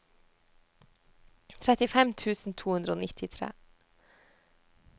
trettifem tusen to hundre og nittitre